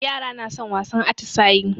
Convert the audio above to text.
Yara na son wasan atisayi.